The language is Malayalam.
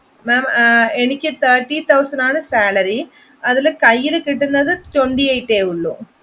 എനിക്ക് thirty thousand ആണ് salary അതില് കയ്യില് കിട്ടുന്നത് twenty eight ഉള്ളു